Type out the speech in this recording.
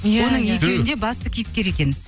оның екеуінде басты кейіпкер екен